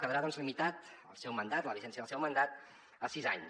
quedarà doncs limitat el seu mandat la vigència del seu mandat a sis anys